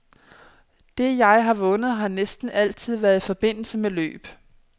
Det, jeg har vundet, har næsten altid været i forbindelse med løb.